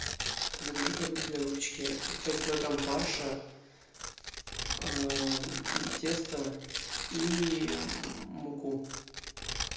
закажи продукты для выпечки пять килограмм фарша тесто и муку